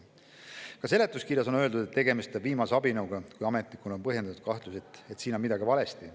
Ka seletuskirjas on öeldud, et tegemist on viimase abinõuga, kui ametnikul on põhjendatud kahtlus, et siin on midagi valesti.